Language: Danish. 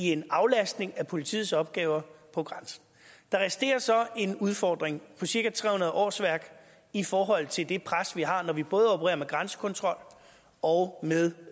en aflastning af politiets opgaver på grænsen der resterer så en udfordring på cirka tre hundrede årsværk i forhold til det pres vi har når vi både opererer med grænsekontrol og med